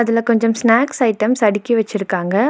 இதுல கொஞ்சம் snacks items அடுக்கி வச்சிருக்காங்க.